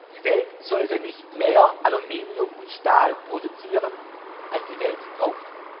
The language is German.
Die Welt sollte nicht mehr Aluminium und Stahl produzieren, als die Welt braucht.